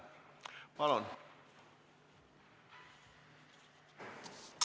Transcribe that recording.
Palun!